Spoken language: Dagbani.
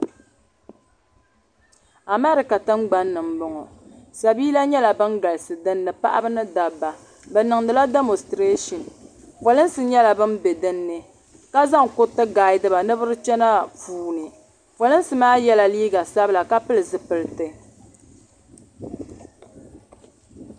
Amɛrica tiŋgbanni n bɔŋɔ sabila yɛla ban galisi dinni paɣiba ni dabba bi niŋdila dimositrashin polinsi yɛla bani bɛ dinni ka zaŋ kuiriti n gahidi ba ni bi di kpɛna puuni polinsi maa yiɛla liiga sabila ka pili zupiliti.